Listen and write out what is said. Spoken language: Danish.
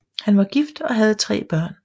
Han var gift og havde tre børn